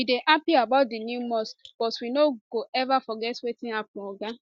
we dey happy about di new mosque but we no go ever forget wetin happun oga